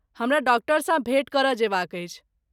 हमरा डॉक्टरसँ भेँट करय जयबाक अछि।